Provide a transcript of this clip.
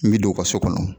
N bɛ don u ka so kɔnɔ